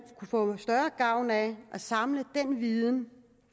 kunne få større gavn af at samle den viden